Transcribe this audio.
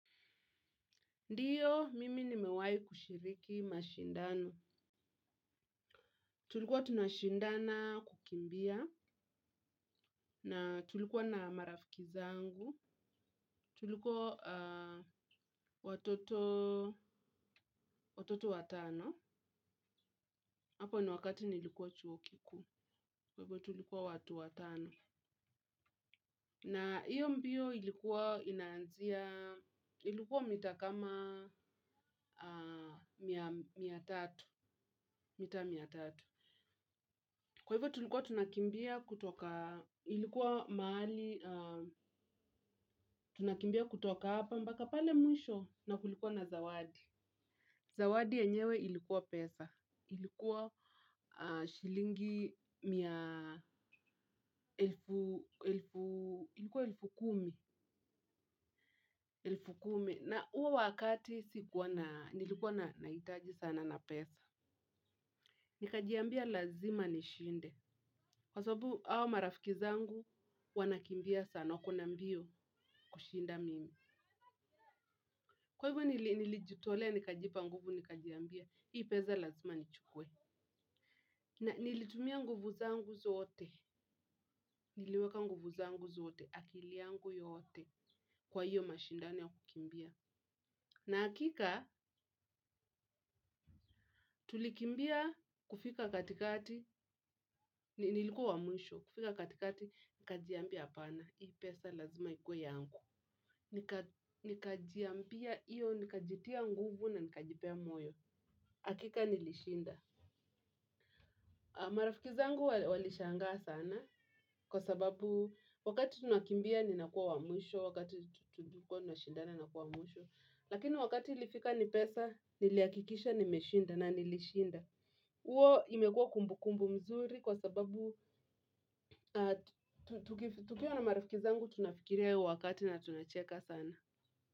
Ndiyo, mimi ni mewai kushiriki mashindano. Tulikuwa tunashindana kukimbia na tulikuwa na marafiki zangu. Tulikuwa watoto watano. Hapo ni wakati nilikuwa chuo kikuu. Kwa hivyo tulikuwa watu watano, na hiyo mbio ilikuwa inaanzia, ilikuwa mita kama mia tatu. Mita mia tatu. Kwa hivyo tulikuwa tunakimbia kutoka, ilikuwa mahali, tunakimbia kutoka hapa mpaka pale mwisho, na kulikuwa na zawadi. Zawadi yenyewe ilikuwa pesa; ilikuwa shilingi elfu kumi, elfu kumi, na huo wakati nilikuwa nahitaji sana na pesa. Nikajiambia lazima nishinde, kwa sababu hawa marafiki zangu wanakimbia sana, wakona mbio, kushinda mimi. Kwa hivyo nilijitolea, nikajipa nguvu, nikajiambia, hii pesa lazima nichukue. Na nilitumia nguvu zangu zote, niliweka nguvu zangu zote, akili yangu yote kwa hiyo mashindano ya kukimbia. Na hakika, tulikimbia, kufika katikati nilikuwa wamwisho. Kufika katikati nikajiambia, "Hapana." Hii pesa lazima ikuwe yangu. Nikajiambia hivyo, nikajitia nguvu na nikajipa moyo. Hakika nilishinda. Marafiki zangu walishangaa sana kwa sababu wakati tunakimbia nilikuwa mwisho, wakati tunakimbia nilikuwa mwisho. Lakini wakati ilifika ni pesa, nilihakikisha nimeshinda, na nilishinda. Hiyo imekuwa kumbukumbu nzuri kwa sababu tukiwa na marafiki zangu tunafikiria yale wakati na tunacheka sana.